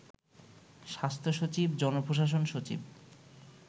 স্বাস্থ্য সচিব, জনপ্রশাসন সচিব